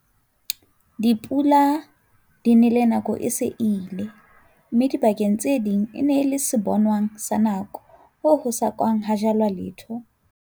Dipula di nele nako e se e ile, mme dibakeng tse ding e nele sebonong sa nako hoo ho sa kang ha jalwa letho.